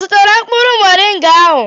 Ọ zụtara mkpụrụ mọrịnga ahụ?